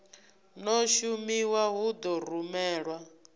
no shumiwa hu ḓo rumelwa